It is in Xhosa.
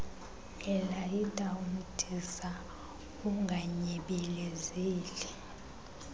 elayita umdiza unganyebelezeli